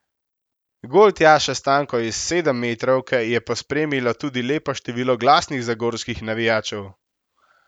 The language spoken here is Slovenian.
Gol Tjaše Stanko iz sedemmetrovke je pospremilo tudi lepo število glasnih zagorskih navijačev.